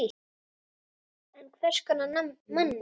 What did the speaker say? En hvers konar manni?